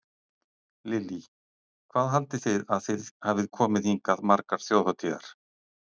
Lillý: Hvað haldið þið að þið hafið komið hingað margar þjóðhátíðar?